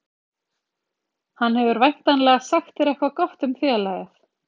Hann hefur væntanlega sagt þér eitthvað gott um félagið?